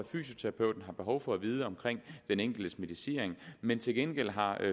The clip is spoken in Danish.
fysioterapeut har behov for at vide omkring den enkeltes medicinering men til gengæld har